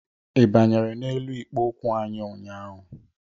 Ị banyere n'elu ikpo okwu anyị ụnyaahụ?